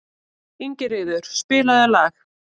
Ingiríður, spilaðu lag.